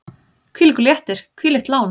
Hvílíkur léttir, hvílíkt lán!